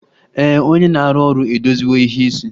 Ee, onye na-arụ ọrụ edoziwo ìhè isi